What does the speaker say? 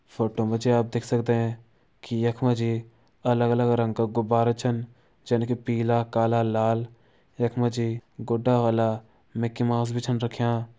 फोटो मां जी आप देख सकदें कि यख मां जी अलग-अलग रंग का गुब्बारा छन जनकि पीला काला लाल यखमां जी गुड्डा वाला मिक्की माउस भी छन रख्यां।